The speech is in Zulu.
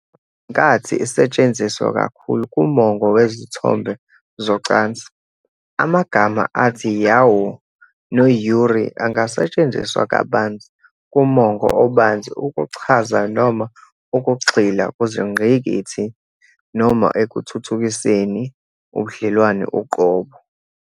Ngenkathi isetshenziswa kakhulu kumongo wezithombe zocansi, amagama athi "yaoi" no- "yuri" angasetshenziswa kabanzi kumongo obanzi ukuchaza noma ukugxila kuzingqikithi noma ekuthuthukiseni ubudlelwano uqobo.